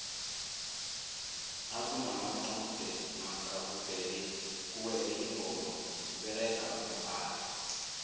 nakunama qude namkha kuwele ingoma kuberega umbhalo